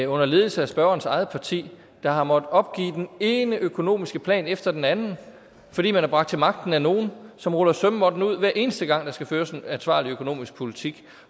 under ledelse af spørgerens eget parti der har måttet opgive den ene økonomiske plan efter den anden fordi man er bragt til magten af nogle som ruller sømmåtten ud hver eneste gang der skal føres en ansvarlig økonomisk politik